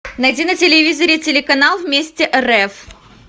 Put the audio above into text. найди на телевизоре телеканал вместе рф